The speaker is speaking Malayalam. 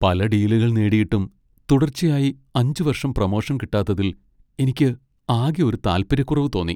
പല ഡീലുകൾ നേടിയിട്ടും തുടർച്ചയായി അഞ്ച് വർഷം പ്രമോഷൻ കിട്ടാത്തതിൽ എനിക്ക് ആകെ ഒരു താൽപര്യക്കുറവ് തോന്നി.